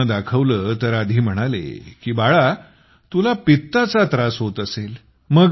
डॉक्टरना दाखवले तर आधी ते म्हणाले की बाळा तुला पित्ताचा त्रास होत असे